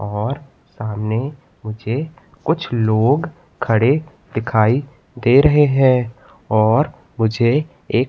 और सामने मुझे कुछ लोग खड़े दिखाई दे रहे है और मुझे एक--